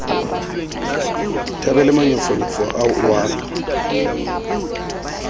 thabele manyofonyo ao o a